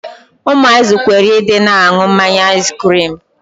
Ụmụazị kwere Ị dị na-aṅụ mmanya aiskirimu.